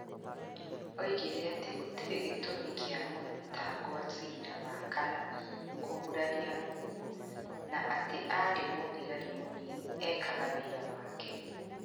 Oigire atĩ gũtirĩ gĩtũmi kĩa mũthitangwa cira wa kana kũguraria mũkuũ na atĩ arĩ mũthigari mũnini, eekaga wĩra wake.